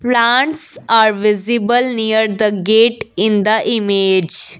plants are visible near the gate in the image.